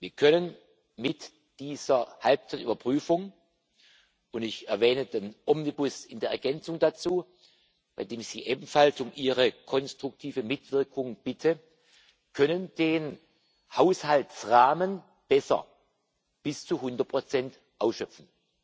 Wir können mit dieser Halbzeitüberprüfung und ich erwähne den Omnibus in der Ergänzung dazu, bei dem ich Sie ebenfalls um Ihre konstruktive Mitwirkung bitte den Haushaltsrahmen besser, bis zu 100 ausschöpfen.